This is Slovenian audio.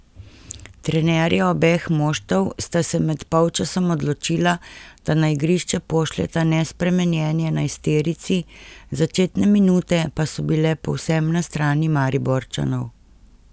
Trenerja obeh moštev sta se med polčasom odločila, da na igrišče pošljeta nespremenjeni enajsterici, začetne minute pa so bile povsem na strani Mariborčanov.